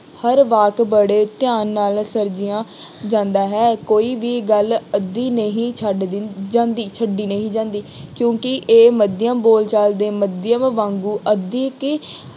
ਹਰ ਵਾਕ ਬੜੇ ਧਿਆਨ ਨਾਲ ਸਿਰਜਿਆ ਜਾਂਦਾ ਹੈ। ਕੋਈ ਵੀ ਗੱਲ ਅੱਧੀ ਨਹੀਂ ਛੱਡ ਦਿੰ ਜਾਂਦੀ ਛੱਡੀ ਨਹੀਂ ਜਾਂਦੀ, ਕਿਉਂਕਿ ਇਹ ਮਾਧਿਅਮ ਬੋਲਚਾਲ ਦੇ ਮਾਧਿਅਮ ਵਾਂਗੂ ਅਧਿਕੀ